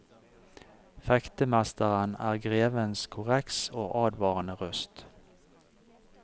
Fektemesteren er grevens korreks og advarende røst.